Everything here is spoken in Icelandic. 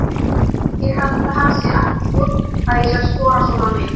Ég held að hann sé ekkert fúll að ég sé að skora svona mikið.